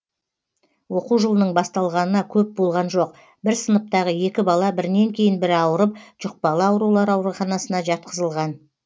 оқу жылының басталғанына көп болған жоқ бір сыныптағы екі бала бірінен кейін бірі ауырып жұқпалы аурулар ауруханасына жатқызылған